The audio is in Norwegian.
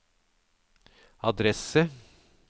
adresse